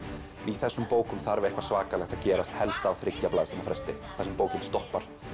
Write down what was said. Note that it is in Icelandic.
í þessum bókum þarf eitthvað svakalegt að gerast helst á þriggja blaðsíðna fresti þar sem bókin stoppar